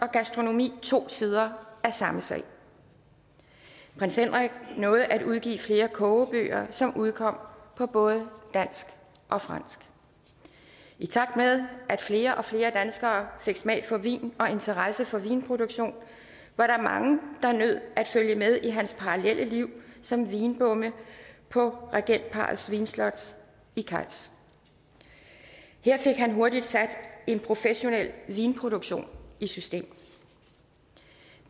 og gastronomi to sider af samme sag prins henrik nåede at udgive flere kogebøger som udkom på både dansk og fransk i takt med at flere og flere danskere fik smag for vin og interesse for vinproduktion var der mange der nød at følge med i hans parallelle liv som vinbonde på regentparrets vinslot i cayx her fik han hurtigt sat en professionel vinproduktion i system